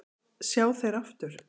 sjá þeir aftur